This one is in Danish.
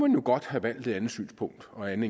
jo godt have valgt et andet synspunkt og en